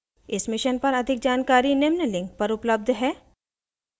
इस mission पर अधिक जानकारी निम्न लिंक पर उपलब्ध है